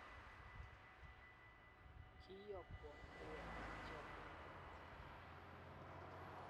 kiiyokwon baruetab chomyet amut